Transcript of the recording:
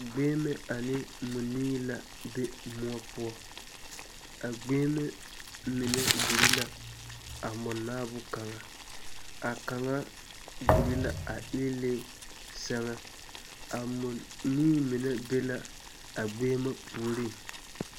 Gbeŋime ane mͻnii la be mõͻ poͻ. A gbeŋime mine gure la a mͻnaao kaŋa. A kaŋa gure la a eelԑԑ sԑŋԑ. A mͻnii mine be la a gbeŋime puoriŋ.